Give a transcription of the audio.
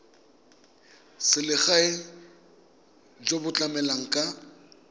selegae jo bo tlamelang ka